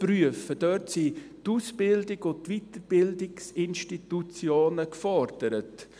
Hier sind die Ausbildungs- und die Weiterbildungsinstitutionen gefordert.